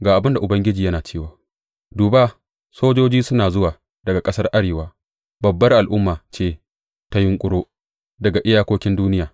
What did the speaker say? Ga abin da Ubangiji yana cewa, Duba, sojoji suna zuwa daga ƙasar arewa; babbar al’umma ce ta yunƙuro daga iyakokin duniya.